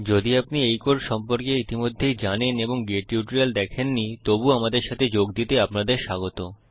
যদি আপনি এই কোড সম্পর্কে ইতিমধ্যেই জানেন এবং গেট টিউটোরিয়াল দেখেননি তবুও আমাদের সাথে যোগ দিতে আপনাদের স্বাগত